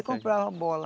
Eu comprava a bola.